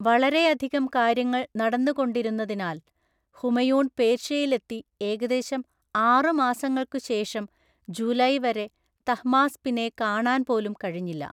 വളരെ അധികം കാര്യങ്ങൾ നടന്നുകൊണ്ടിരുന്നതിനാൽ, ഹുമയൂൺ പേർഷ്യയിൽ എത്തി ഏകദേശം ആറു മാസങ്ങൾക്കു ശേഷം ജൂലൈ വരെ തഹ്‌മാസ്‌പിനെ കാണാൻ പോലും കഴിഞ്ഞില്ല.